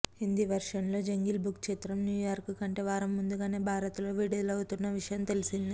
హిందీ వెర్షన్లో Jungle Book చిత్రం New York కంటే వారం ముందుగానే భారత్లో విడుదలవుతున్న విషయం తెలిసిందే